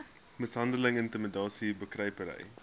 mishandeling intimidasie bekruipery